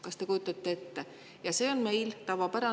" Kas te kujutate ette?!